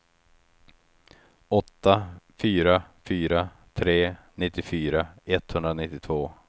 åtta fyra fyra tre nittiofyra etthundranittiotvå